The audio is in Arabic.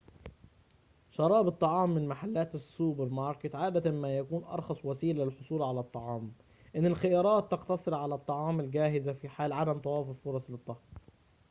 شراء الطعام من محلات السوبر ماركت عادة ما يكون أرخص وسيلة للحصول على الطعام إن الخيارات تقتصر على الطعام الجاهز في حال عدم توافر فرص للطهي